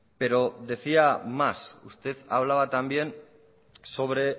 pero decía más usted hablaba también sobre